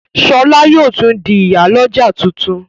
Shola yóò di ìyá l'ọja títún.